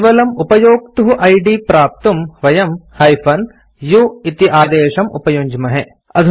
केवलम् उपयोक्तुः इद् प्राप्तुं वयम् - u इति आदेशम् उपयुञ्ज्महे